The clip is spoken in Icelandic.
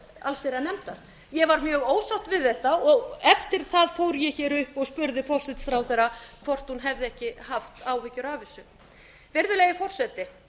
allsherjarnefndar ég var mjög ósátt við þetta og eftir það fór ég hér upp og spurði forsætisráðherra hvort hún hefði ekki haft áhyggjur af þessu virðulegi forseti